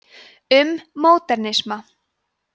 um módernisma